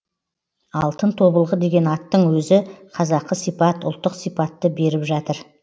алтын тобылғы деген аттың өзі қазақы сипат ұлттық сипатты беріп жатыр